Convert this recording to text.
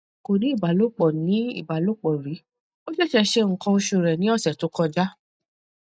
ko ni ibalopọ̀ ni ibalopọ̀ ri o ṣeṣe ṣe nkan oṣu rẹ̀ ni ọ̀sẹ̀ to kọja